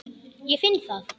Ég finn það.